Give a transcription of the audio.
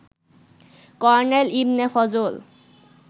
colonel Ibne Fazal